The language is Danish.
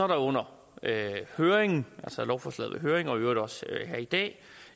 der under høringen altså lovforslaget høring og i øvrigt også her i dag